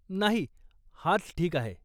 नाही, हाच ठीक आहे.